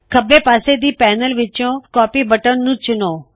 ਖੱਬੇ ਪਾੱਸੇ ਦੀ ਪੈਨਲ ਵਿੱਚੋਂ ਕਾਪੀ ਬਟਨ ਨੂੰ ਚੁਣੋ